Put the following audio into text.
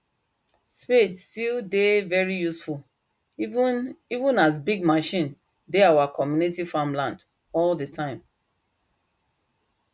spade still dey very useful even even as big machine dey our community farmland all the time